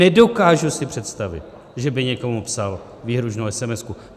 Nedokážu si představit, že by někomu psal výhrůžnou esemesku.